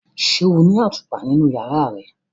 Ṣe o ni atupa ninu yara rẹ?